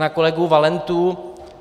Na kolegu Valentu.